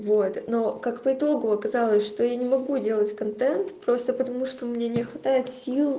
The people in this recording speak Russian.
вот но как по итогу оказалось что я не могу делать контент просто потому что у меня не хватает сил